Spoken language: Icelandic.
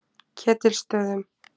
Ketilsstöðum